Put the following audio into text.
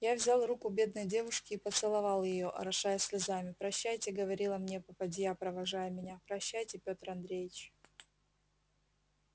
я взял руку бедной девушки и поцеловал её орошая слезами прощайте говорила мне попадья провожая меня прощайте пётр андреич